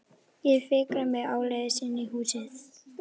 Ég fikra mig áleiðis inn í húsið.